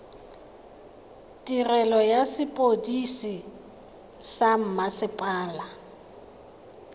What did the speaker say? tirelo ya sepodisi sa mmasepala